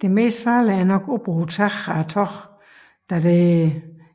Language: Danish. Det mest farlige er nok oppe på taget af toget da der